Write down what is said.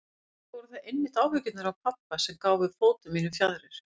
Líklega voru það einmitt áhyggjurnar af pabba sem gáfu fótum mínum fjaðrir.